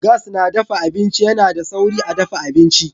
Gas na dafa abinci yana da sauri a dafa abinci.